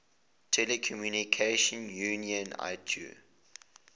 telecommunication union itu